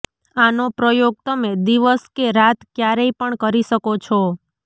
આનો પ્રયોગ તમે દિવસ કે રાત ક્યારેય પણ કરી શકો છો